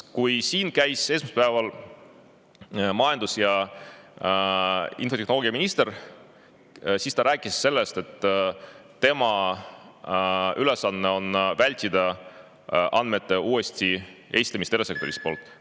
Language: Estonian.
Kui esmaspäeval käis siin majandus‑ ja infotehnoloogiaminister, siis ta rääkis, et tema ülesanne on vältida andmete uuesti esitamist erasektori poolt.